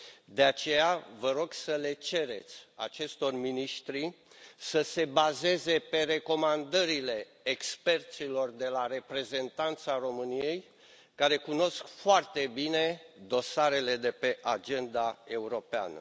De aceea vă rog să le cereți acestor miniștri să se bazeze pe recomandările experților de la Reprezentanța României, care cunosc foarte bine dosarele de pe agenda europeană.